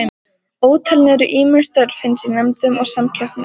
Ótalin eru ýmis störf hans í nefndum og samkeppnum.